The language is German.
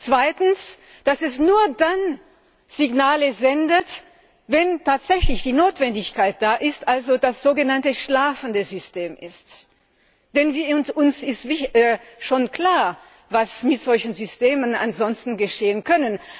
Zweitens, dass es nur dann Signale sendet, wenn tatsächlich die Notwendigkeit besteht also das sogenannte schlafende System. Denn uns ist schon klar, was mit solchen Systemen ansonsten geschehen kann.